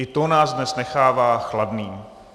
I to nás dnes nechává chladnými.